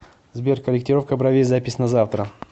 сбер корректировка бровей запись на завтра